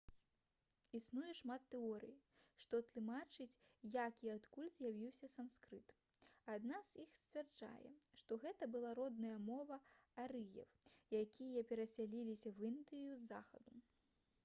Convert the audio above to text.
існуе шмат тэорый што тлумачаць як і адкуль з'явіўся санскрыт адна з іх сцвярджае што гэта была родная мова арыеў якія перасяліліся ў індыю з захаду